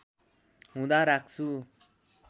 हुँदा राख्छु